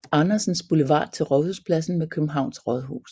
Andersens Boulevard til Rådhuspladsen med Københavns Rådhus